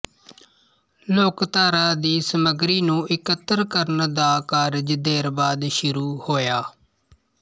ਲੋਕਧਾਰਾ ਦੀ ਸਮੱਗਰੀ ਨੂੰ ਇਕੱਤਰ ਕਰਨ ਦਾ ਕਾਰਜ ਦੇਰ ਬਾਅਦ ਸ਼ੁਰੂ ਹੋਇਆ